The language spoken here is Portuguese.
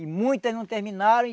E muitas não terminaram,